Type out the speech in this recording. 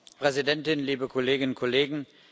Frau Präsidentin, liebe Kolleginnen und Kollegen!